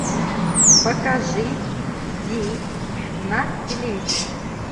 покажи зи на телевизоре